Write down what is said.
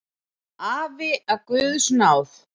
Afi af guðs náð.